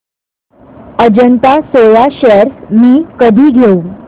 Ajanta soya shares मी कधी घेऊ